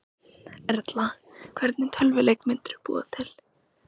Erla: Hvernig tölvuleik myndirðu búa til?